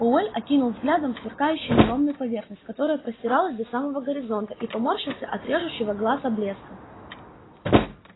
пауэлл окинул взглядом сверкающую неровную поверхность которая простиралась до самого горизонта и поморщился от режущего глаза блеска